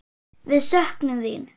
Við söknum þín.